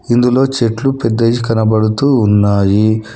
ఇందులో చెట్లు పెద్దది కనబడుతూ ఉన్నాయి.